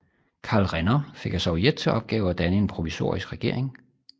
Karl Renner fik af Sovjet til opgave at danne en provisorisk regering